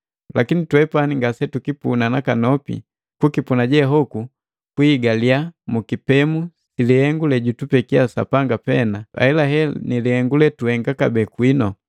Lakini twepani ngasetukipuna nakanopi, kukipuna je hoku kwiihigaliya mukipemu si lihengu lejutupekia Sapanga pena ahelahela nilihengu letuhenga kabee kwinu.